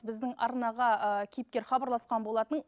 біздің арнаға ы кейіпкер хабарласқан болатын